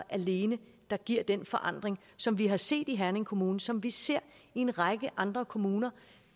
alene der giver den forandring som vi har set i herning kommune og som vi ser i en række andre kommuner